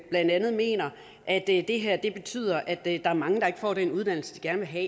blandt andet mener at det her betyder at der er mange der ikke får den uddannelse de gerne vil have